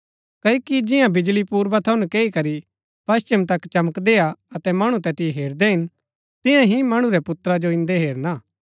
क्ओकि जिंआ बिजळी पूर्वा थऊँ नकैई करी पश्‍चिम तक चमकदी हा अतै मणु तैतिओ हेरदै हिन तियां ही मणु रै पुत्रा जो इंदै हेरना